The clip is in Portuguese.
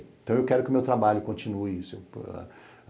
Então eu quero que o meu trabalho continue.